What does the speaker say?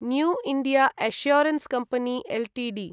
new India assurance company Ltd